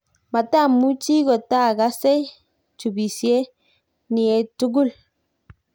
matamuchi kotaagase chubisye niee tugul